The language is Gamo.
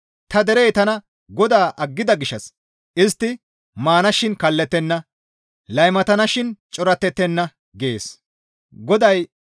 Ta derey tana GODAA aggida gishshas istti maanashin kallettenna; laymatanashin corattettenna» gees.